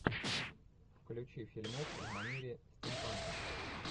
включи фильмок в манере стимпанка